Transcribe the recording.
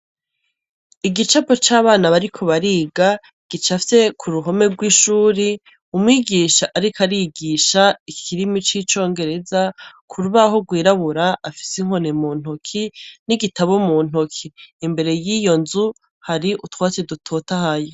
Igicapo c'abana bariko bariga gicafye ku ruhome rw'ishuri umwigisha ariko arigisha ikirimi c'icongereza ku rubaho rwirabura afise inkoni mu ntoki n'igitabu mu ntoki imbere yiyo nzu hari utwatsi dutotahaye.